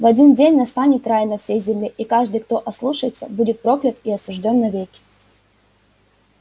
в один день настанет рай на всей земле и каждый кто ослушается будет проклят и осуждён навеки